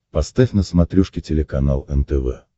поставь на смотрешке телеканал нтв